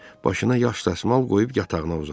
Başına yaş dəsmal qoyub yatağına uzandı.